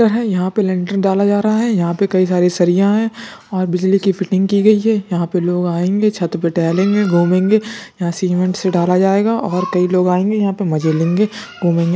यहाँ पर लेंटर डाला जा रहा है। यहाँ पर कई सारे सरिया हैं और बिजली की फिटिंग की गई है। यहाँ पर लोग आएगे छत पे टहलेगे घुमेंगे। यहाँ सिमिन्ट से डाला जायेगा और कई लोग आएगे यहाँ पर मजे लेंगे घुमेंगे।